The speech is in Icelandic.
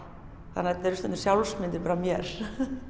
þannig að þetta eru stundum sjálfsmyndir af mér